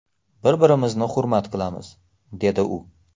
Bir-birimizni hurmat qilamiz”, dedi u.